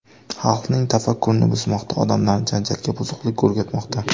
Xalqning tafakkurini buzmoqda, odamlarni janjalga, buzuqlikka o‘rgatmoqda.